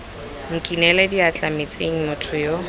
nkinele diatla metsing motho yo